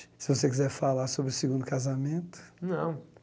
Se você quiser falar sobre o segundo casamento... Não.